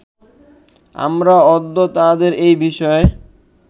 আমরা অদ্য তাঁহাদের এ বিষয়ে